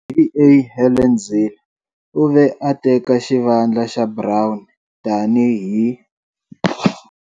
DA Helen Zille u ve a teka xivandla xa Brown tani hi.